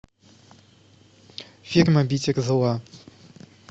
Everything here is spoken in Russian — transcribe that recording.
фильм обитель зла